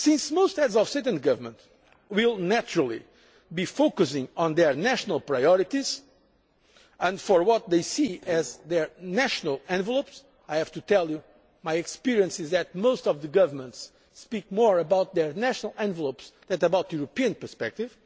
market. Most Heads of State and Government will naturally be focusing on their national priorities and on what they see as their national envelopes, and I have to tell you that, in my experience, most of the governments have more to say about their national envelopes than about the European perspective.